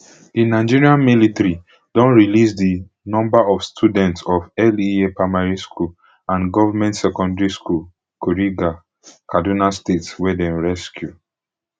di nigerian military don release di number of students of lea primary school and government secondary school kuriga kaduna state wey dem rescue